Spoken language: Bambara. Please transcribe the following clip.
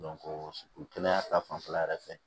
kɛnɛya ta fanfɛla yɛrɛ fɛ